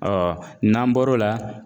Ɔ n'an bɔr'o la